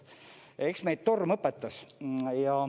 Eks meid torm õpetas.